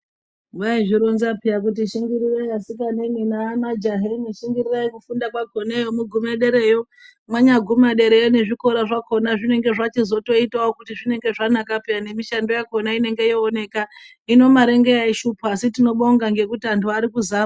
Vaizvironza peya kuti shingirirai asikana nemajaha shingirirai kufunda kwakona mugume paderayo. Mwanyagumewo derayo nezvikora zvakona zvinenge zvachizotoitawo kuti zvinenge zvanaka peyani nemishando yakhona inenge yooneka. Hino mare ndiyo yaishupa asi tinobonga angu arikuzama.